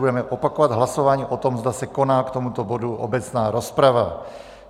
budeme opakovat hlasování o tom, zda se koná k tomuto bodu obecná rozprava.